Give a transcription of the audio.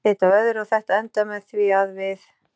Eitt leiddi af öðru og þetta endaði með því að við.